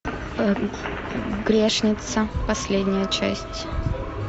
грешница последняя часть